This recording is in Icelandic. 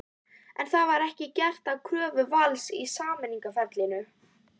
En var það gert að kröfu Vals í samningaferlinu?